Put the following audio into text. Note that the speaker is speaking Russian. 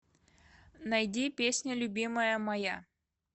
найди песня любимая моя